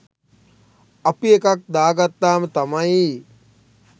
අපි එකක් දාගත්තාම තමයි